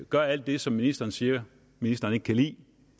gør alt det som ministeren siger at ministeren ikke kan lide